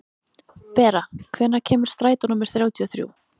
Bera, hvenær kemur strætó númer þrjátíu og þrjú?